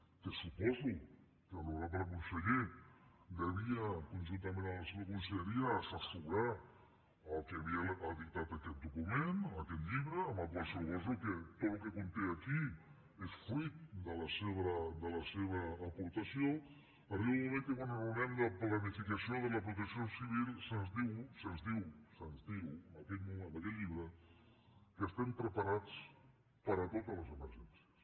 que suposo que l’honorable conseller devia conjuntament amb la seva conselleria assessorar a qui havia editat aquest document aquest llibre amb el qual suposo que tot el que conté aquí és fruit de la seva aportació arriba un moment que quan enraonem de planificació de la protecció civil se’ns diu se’ns diu se’ns diu en aquest llibre que estem preparats per a totes les emergències